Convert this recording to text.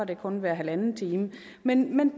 det kun hver halvanden time men